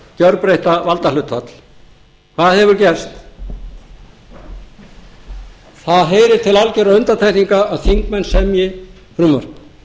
gerbreytta valdahlutfall hvað hefur gerst það heyrir til algerra undantekninga að þingmenn semji frumvarp